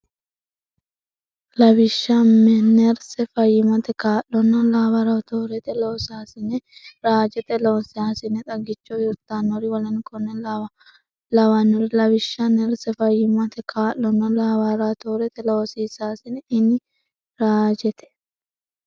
Lawishsha nerse, fayyimmate kaa’laano, laaboratorete loosaas- ine, raajete loosaasine, xagicho hirtannori w k l Lawishsha nerse, fayyimmate kaa’laano, laaboratorete loosaas- ine, raajete.